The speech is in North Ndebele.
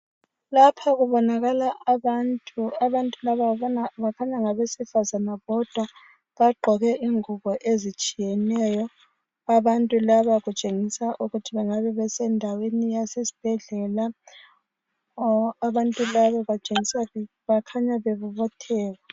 Lapha kubonakala abantu, abantu laba kukhaya ngabesifazana bodwa, bagqoke ingubo ezitshiyeneyo, abantu laba kutshengisa ukuthi bengabe besendaweni yasesibhedlela. Abantu laba bakhanya bebobotheka.